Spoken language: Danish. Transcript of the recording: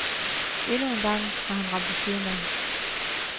Endnu en gang har han ramt ved siden af.